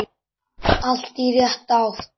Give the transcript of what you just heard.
Allt í rétta átt.